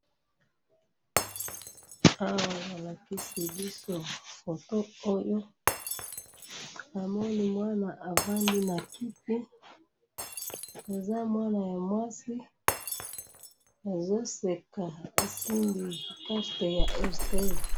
awa balakisi biso photo oyonamoni mwana afandi nakiti azo seka asimbi poncarte ya airtel